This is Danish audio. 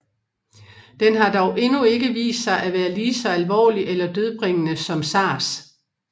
Den har dog endnu ikke vist sig at være lige så alvorlig eller dødbringende som SARS